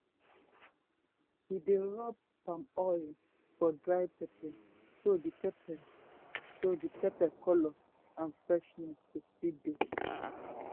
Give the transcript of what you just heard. we dey rub palm oil for dry pepper so the pepper so the colour and freshness go still dey.